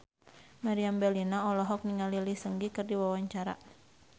Meriam Bellina olohok ningali Lee Seung Gi keur diwawancara